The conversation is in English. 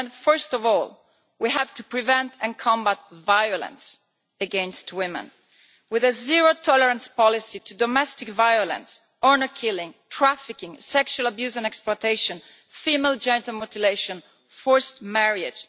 First of all we have to prevent and combat violence against women with a zero tolerance policy to domestic violence, honour killings, trafficking, sexual abuse and exploitation, female genital mutilation, forced marriage.